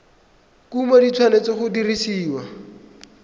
kumo di tshwanetse go dirisiwa